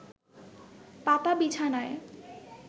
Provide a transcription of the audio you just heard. পাতা বিছানায়